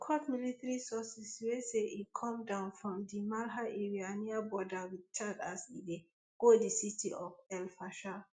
e quote military sources wey say e come down for di malha area near border wit chad as e dey go di city of elfasher